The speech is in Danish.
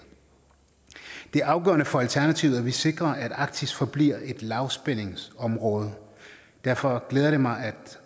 det er afgørende for alternativet at vi sikrer at arktis forbliver et lavspændingsområde derfor glæder det mig at